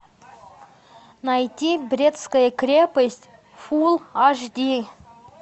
найти брестская крепость фул аш ди